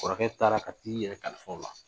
Kɔrɔkɛ taara ka t'i yɛrɛ kalifa u la